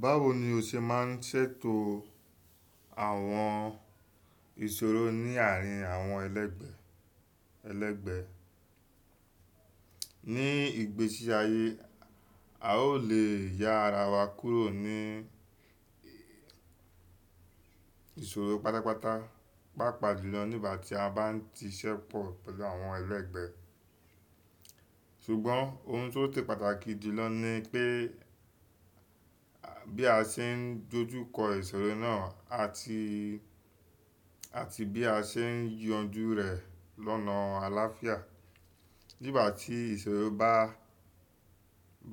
Báwo ni o ṣe máa ń ṣètò àwọn ìṣòro ní àárín àwọn ẹlẹgbẹ, ẹlẹgbẹ? Ni ìgbésí ayé, a ò le ya ara wa kúrò ní ìṣòro pátápátá, pàápàá jùlọ nígbà tí a bá ń ti ṣépọ̀ pẹ̀lú àwọn ẹlẹgbẹ. Ṣùgbọ́n ohun tó se pàtàkì jùlọ ni pé bí a ṣe ń dojú kọ ìṣòro náà àti, àti bí a ṣe ń yanjú rẹ̀ lọ́nà àláfíà. Nígbà tí ìṣòro bá,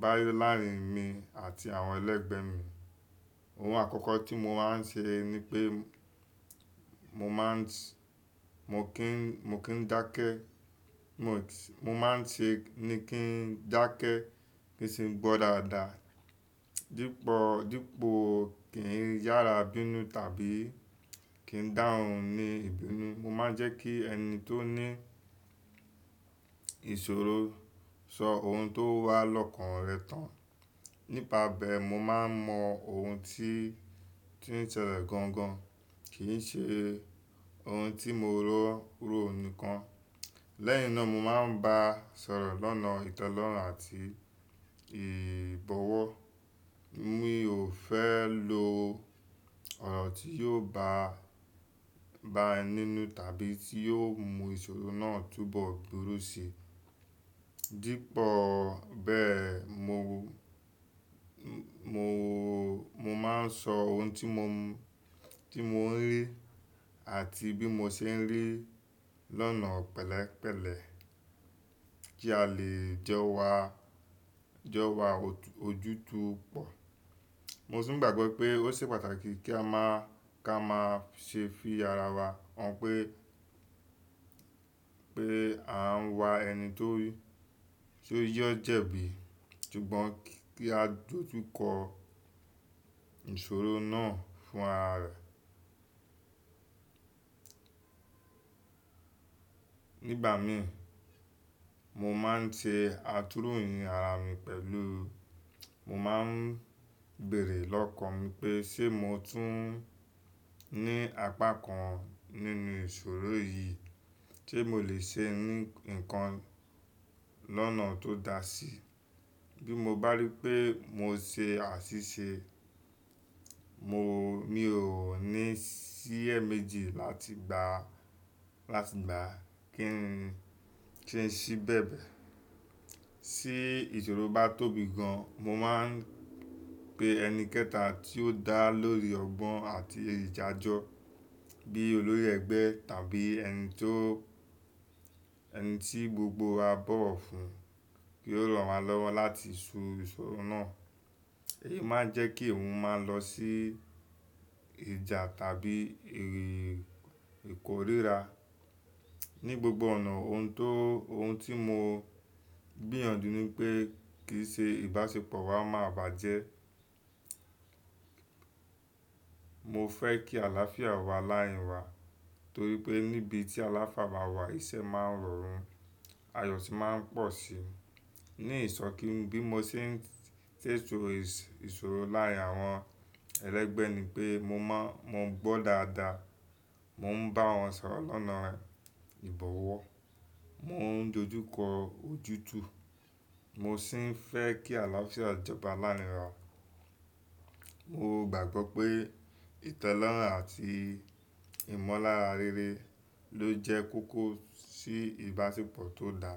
bá yo láàrín mi àti àwọn ẹlẹgbẹ mi, ohun àkọ́kọ́ tí mo máa ń ṣe ni pé mo má ń ṣe, mo kí ń, mo kí ń dákẹ́. Mo, mo má ń ṣe ni kí n dákẹ́ kí sì ń gbọ́ dáadáa. Dípọ̀, dípọ̀ kí n yára bínú tàbí kí n dáhun ní ìbínú. Mo má ń jẹ́ kí ẹni tó ní ìṣòro sọ ohun tó wà lọ́kàn rẹ̀ tán. Nípa bẹ́ẹ̀, mo máa ń mọ ohun tí, tí ń ṣẹlẹ̀ gangan, kì í ṣe ohun tí mo rò, rò nìkan. Lẹ́yìn náà mo má ń bá a sọ̀rọ̀ lọ́nà ìtelẹorun àti ìbọ̀wọ̀. Mi ò fẹ́ lo ọ̀rọ̀ tí yóò bá, bá ẹ nínú tàbí tí yóò mú ìṣòro náà túbọ̀ dúró si. Dípọ̀ bẹ́ẹ̀, mo, mo, mo má ń sọ ohun tí mo, tí mo ń rí àti bí mo ṣe ń rí lọ́nà pẹ̀lẹ́pẹ̀lẹ́ kí a lè jọ wa, jọ wa ojútùú pọ̀. Mo tun ń gbàgbọ́ pé ó ṣe pàtàkì kí a má, kí a máa ṣe fi ara wa hàn pé, pé à ń wa ẹni tó rí, tó yẹ́ jẹ́ bí. Ṣùgbọ́n kí á dojú kọ ìṣòro náà fún ara rẹ̀. Nígbà mìíràn, mo má ń ṣe àtúróyìn ara mi pẹ̀lú, mo má ń béèrè lọ́kàn mi pé ṣé mo tún ní apá kan nínú ìṣòro yìí tí mo le ṣe ní nǹkan lọ́nà tó da sí. Bí mo bá rí pé mo ṣe àṣìṣe, mo, mi ò ní iṣẹ́ méjì láti gba, láti gba kí n, kí n ṣí bẹ̀bẹ̀. Sí ìṣòro bá tóbi gan, mo máa ń pe ẹni kẹta tí ó dá lórí ọgbọ́n àti ìdàjọ bí olórí ẹgbẹ́ tàbí ẹni tó, ẹni tí gbogbo wa bọ̀wọ̀ fún kí ó ràn wa lọ́wọ́ láti so ìṣòro náà. Èyí má ń jẹ́ kí òun máa lọ sí ìjà tàbí èrò ìkóríra. Ni gbogbo ọ̀nà, ohun tó, ohun tí mo gbìyànjú ni pé kì í ṣe ìbáṣepọ̀ wa máa bàjẹ́. Mo fẹ́ kí àláfíà wà láàárín wa torí pé níbi tí aláfià bá wà, iṣẹ́ máa ń rọrùn, ayọ̀ sì má ń pọ̀ sí i. Ni ìsọ̀kín, bí mo ṣe ń ṣètò ìṣòro láàárín àwọn ẹlẹgbẹ́ ni pé mo má ń, mo ń gbọ́ dáadáa. Mo ń bá wọn sọ̀rọ̀ lọ́nà ìbọ̀wọ̀. Mo ń dojú kọ ojútùú. Mo sì ń fẹ́ kí àláfíà jọba láàárín wa. Mo gbàgbọ́ pé ìtelorun àti ìmọ̀lára rere ló jẹ́ kókó sí ìbáṣepọ̀ tó da.